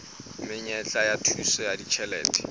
menyetla ya thuso ya ditjhelete